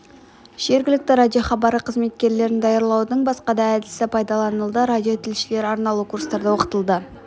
жергілікті радиохабары қызметкерлерін даярлаудың басқа әдісі де пайдаланылды радиотілшілер арнаулы курстарда оқытылды